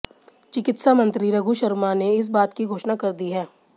चिकित्सा मंत्री रघु शर्मा ने इस बात की घोषणा कर दी है